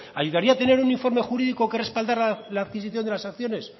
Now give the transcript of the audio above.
ayudaría tener un informe jurídico que respaldara la adquisición de las acciones